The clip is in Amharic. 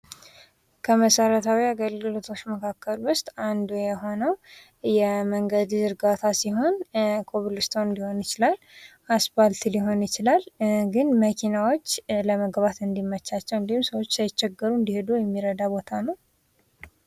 ከመሰረታዊ የአገልግሎቶች ውስጥ አንዱ የሆነው መንገድ ዝርጋታ ሲሆን ኮብልስቶን ሊሆን ይችላል አስፋልት ሊሆን ይችላል ግን መኪናዎች ለመግባት እንዲችሉ ወይም ሰዎች ሳይቸገሩ እንዲሄዱ የሚረዳ ቦታ ነው።